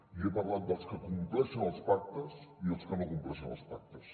i he parlat dels que compleixen els pactes i els que no compleixen els pactes